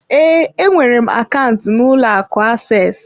Ee, enwere m akaụntụ n'ụlọ akụ access.